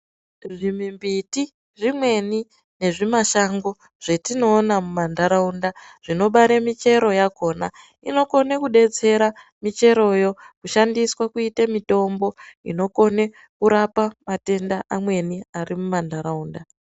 Zvimimbiti zvimweni nezvimashango zvetinoona mumanharaunda zvinobara michero yakhona. Inokona kubetsera micheroyo kushandiswa kuita mitombo inokone kurapa matenda amweni ari mumanharaunda.